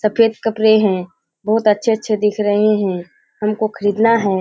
सफ़ेद कपड़े हैं बहुत अच्छे-अच्छे दिख रहें हैं हमको ख़रीदना है।